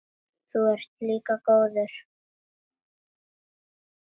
Þú ert líka góður.